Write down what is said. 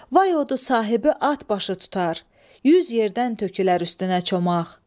Vay odu sahibi atbaşı tutar, yüz yerdən tökülər üstünə çomaq.